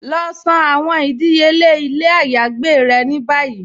Lọ san àwọn ìdíyèle ilẹ̀ àyágbè rẹ̀ ní báyí.